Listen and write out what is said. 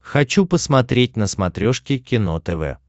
хочу посмотреть на смотрешке кино тв